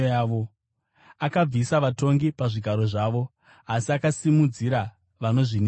Akabvisa vatongi pazvigaro zvavo, asi akasimudzira vanozvininipisa.